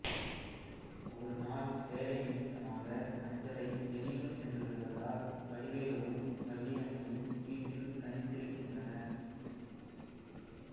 ஒரு நாள் வேலை நிமித்தமாக அஞ்சலை வெளியூர் சென்றுவிடுவதால் வடிவேலுவும் வள்ளியம்மையும் வீட்டில் தனித்திருக்கின்றனர்